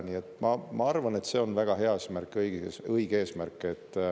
Nii et ma arvan, et see on väga õige eesmärk.